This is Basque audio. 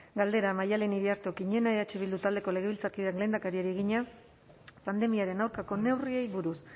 galdera maialen iriarte okiñena eh bildu taldeko legebiltzarkideak lehendakariari egina pandemiaren aurkako neurriei buruz